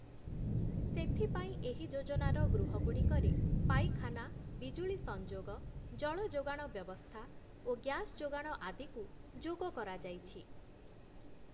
ସେଥିପାଇଁ ଏହି ଯୋଜନାର ଗୃହଗୁଡ଼ିକରେ ପାଇଖାନା, ବିଜୁଳୀ ସଂଯୋଗ, ଜଳଯୋଗାଣ ବ୍ୟବସ୍ଥା ଓ ଗ୍ୟାସ୍‌ ଯୋଗାଣ ଆଦିକୁ ଯୋଗ କରାଯାଇଛି ।